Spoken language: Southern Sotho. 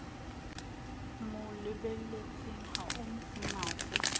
mo lebelletseng ha o mmatle